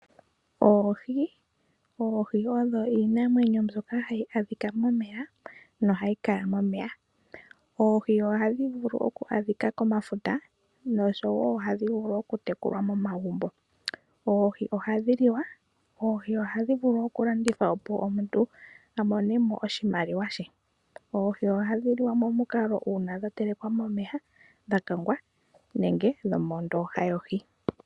Oohi, oohi odho iinamwenyo mbyoka hayi adhika momeya nohayi kala momeya. Oohi oha dhi vulu okwaadhika komafuta nosho woo ohadhi vulu oku tekulwa momagumbo. Oohi ohadhi liwa , oohi ohadhi vuku okulandithwa opo omuntu amonemo oshimaliwa she . Oohi oha dhi liwa momukalo uuna dha telekwa momeya , dha kangwa nenge dho mo ndooha yohi.